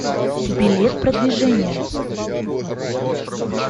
билет продвижение